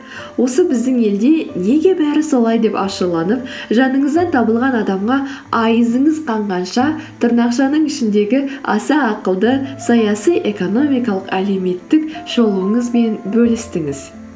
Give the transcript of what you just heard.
осы біздің елде неге бәрі солай деп ашуланып жаныңыздан табылған адамға айызыңыз қанғанша тырнақшаның ішіндегі аса ақылды саяси экономикалық әлеуметтік шолуыңызбен бөлістіңіз